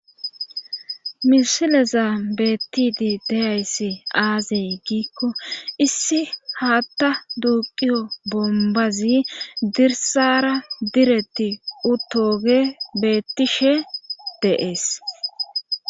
mishileza beettidi deyayssi aaziy giikko issi haatta duuqiyo bombazi dirsara diretti utoge beettishe deees